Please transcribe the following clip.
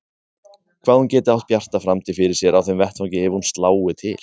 Hvað hún geti átt bjarta framtíð fyrir sér á þeim vettvangi ef hún slái til.